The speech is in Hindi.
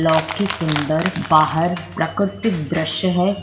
लौकिक सुन्दर बाहर प्राकृतिक द्रश्य है।